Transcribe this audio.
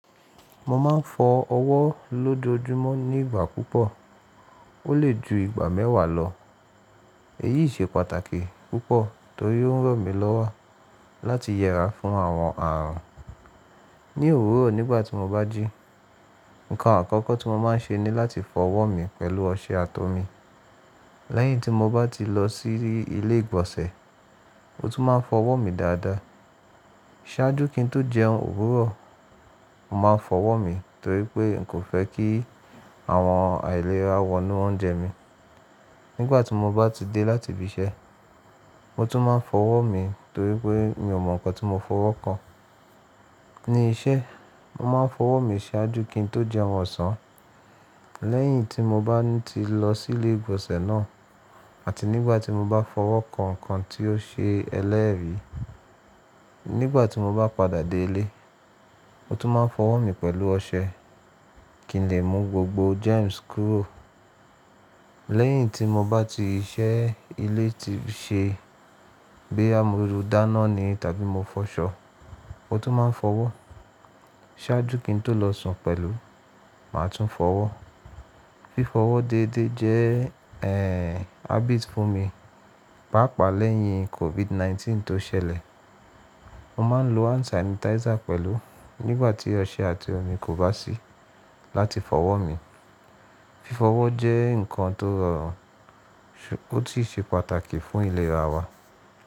Mo ma n fọ ọwọ́ lójoójúmọ́ ní ìgbà púpọ̀, o le ju ìgbà mẹ́wàá lọ. Èyí se pàtàkì púpọ̀ torí ó ń ràn mí lọ́wọ́ láti yẹra fún àwọn àrùn. Ní òwúrọ̀ nígbàtí mo bá jí, ǹkan àkọ́kọ́ tí mo ma n ṣe ní láti fọ ọwọ́ mi pẹ̀lú ọṣẹ àti omi. Lẹ́yìn tí mo bá ti lọ sí ilé ìgbọ̀nsẹ̀, mo tún máa n fọ ọwọ́ mi dáadáa. Sájú kí n tó jẹun òwúrọ̀, mo ma n fọ ọwọ́ mi torí pé n kò fẹ́ kí àwọn àìlera wọnú óunjẹ mí. Nígbàtí mo bá ti dé láti ibi iṣẹ́, mo tún ma n fọ ọwọ́ mi torí pé mi ò mọ nǹkan tí mo fọwọ́ kan. Ní iṣẹ́, mo ma n fọ ọwọ́ mi ṣáájú kí n tó jẹun ọ̀sán. Lẹ́yìn tí mo bá ti lọ sí ilé ìgbọ̀nsẹ̀ náà àti nígbàtí mo bá fọwọ́ kan nǹkan tí ó ṣe ẹlẹ́rìí. Nígbàtí mo bá padà dé ilé, mo tún ma n fọ ọwọ́ mi pẹ̀lú ọṣẹ kí n lè mú gbogbo germs kúrò. Lẹ́yìn tí mo bá ti iṣẹ́ ilé ti ṣe, boya mó dáná ni tàbí mo fọṣọ, mo tún ma n fọwọ́. Sájú kí n tó lọ sùn pẹ̀lú, màá tún fọwọ́. Fífọwọ́ dédé jẹ́ eeh habit fún mi. Páapaa lẹ́yìn COVID nineteen tó ṣẹlẹ̀, mo maa n lo hand sanitizer pẹ̀lú nígbàtí ọṣẹ àti omi kò bá sí láti fọwọ́ mi. Fífọwọ́ jẹ́ nǹkan tó rọrùn, ó sì ṣe pàtàkì fún ìlera wa.